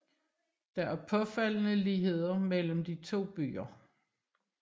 Der er påfaldende ligheder mellem de to byer